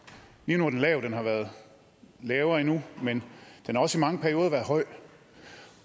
lige nu er den lav og den har været lavere endnu men den har også i mange perioder været høj